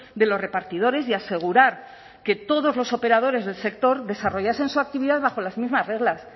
de los repartidores y asegurar que todos los operadores del sector desarrollasen su actividad bajo las mismas reglas